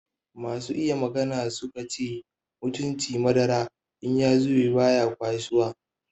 Masu iya magana su ka ce mutunci madara in ya zube baya kwasuwa.